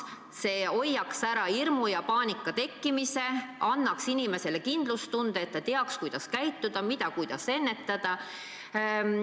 See hoiaks ära hirmu ja paanika tekkimise, annaks inimestele kindlustunde, teadmise, kuidas käituda, kuidas haigestumist ennetada.